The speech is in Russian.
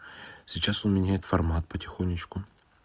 сейчас он меняет формат потихонечку